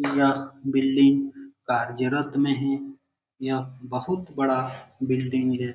यह बिल्डिंग कार्यरत में है। यह बहुत बड़ा बिल्डिंग है।